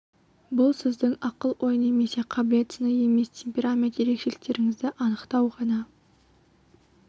бұл сіздің ақыл-ой немесе қабілет сыны емес тек темперамент ерекшеліктеріңізді анықтау ғана